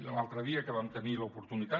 i l’altre dia que vam tenir l’oportunitat